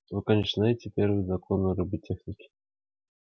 вы конечно знаете первый закон роботехники